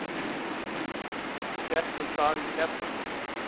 Við settumst að í Keflavík.